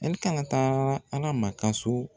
Ɛlikana taara arama ka so